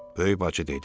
Böyük bacı dedi: